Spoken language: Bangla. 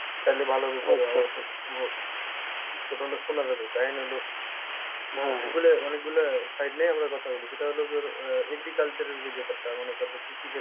তালে ভালো ভাবে শোনা যাবে অনেকগুলা side নিয়ে আমরা কথা বলি সেটা হলো তোর আহ agriculture এর যে ব্যাপারটা মনে কর যে কৃষিক্ষেত্রে